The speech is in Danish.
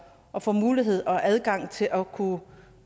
at få mulighed for og adgang til at kunne